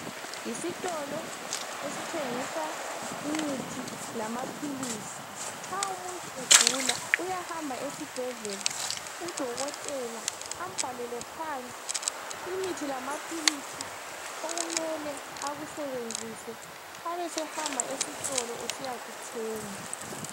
Yisitolo esithengisa imithi lamaphilisi. Nxa umuntu egula uyahamba esibhedlela udokotela ambhalele phansi imithi lamaphilisi okumele akusebenzise abesehamba esitolo esiyakuthenga.